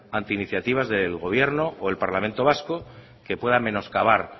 ante iniciativas del gobierno o del parlamento vasco que puedan menoscabar